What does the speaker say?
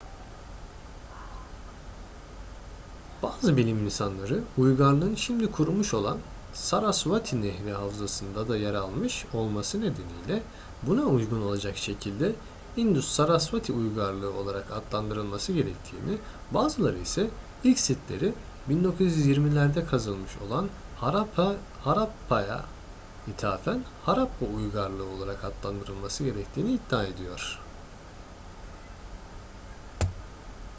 bazı bilim insanları uygarlığın şimdi kurumuş olan sarasvati nehri havzasında da yer almış olması nedeniyle buna uygun olacak şekilde i̇ndus-sarasvati uygarlığı olarak adlandırılması gerektiğini bazıları ise ilk sitleri 1920'lerde kazılmış olan harappa'ya ithafen harappa uygarlığı olarak adlandırılması gerektiğini iddia ediyor